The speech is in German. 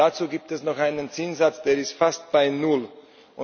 Dazu gibt es noch einen Zinssatz, der fast bei Null ist.